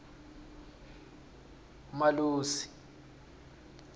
umalusi